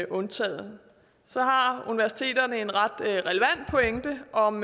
undtaget så har universiteterne en ret relevant pointe om